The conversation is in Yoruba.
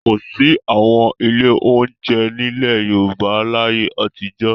Kò sí àwọn ilé-oúnjẹ nílẹ̀ Yorùbá láyé àtijọ́.